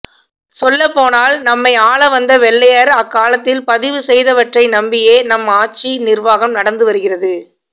சொல்லப்போனால் நம்மை ஆளவந்த வெள்ளையர் அக்காலத்தில் பதிவுசெய்தவற்றை நம்பியே நம் ஆட்சி நிர்வாகம் நடந்துவருகிறது